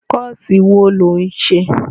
Kọ́ọ̀sì wo ló ń ṣe?